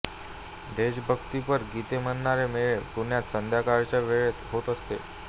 देशभक्तीपर गीते म्हणणारे मेळे पुण्यात संध्याकाळच्या वेळेत होत असत